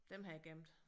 Dem har jeg gemt